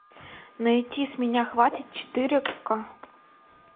найти с меня хватит четыре ка